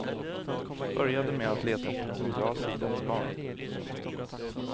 Började med att leta efter någon bra sida för barn.